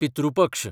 पितृ पक्ष